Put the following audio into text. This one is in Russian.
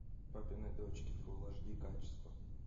папины дочки фулл аш ди качество